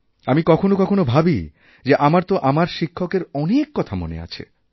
আমি কখনও কখনওভাবি যে আমার তো আমার শিক্ষকের অনেক কথা মনে আছে